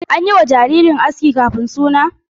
An yi wa jaririn aski kafin suna?